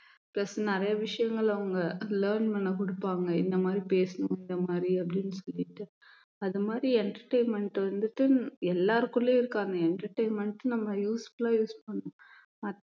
plus நிறைய விஷயங்கள் அவங்க learn பண்ண கொடுப்பாங்க இந்த மாதிரி பேசணும் இந்த மாதிரி அப்படின்னு சொல்லிட்டு அது மாதிரி entertainment வந்துட்டு எல்லாருக்குள்ளயும் இருக்கு அந்த entertainment நம்ம useful ஆ use பண்ணணும்